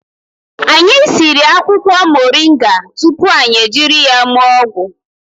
Anyị siri akwụkwọ moringa tupu anyị jiri ya mee ọgwụ